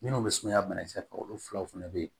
Minnu bɛ sumaya banakisɛ kan olu filaw fana bɛ yen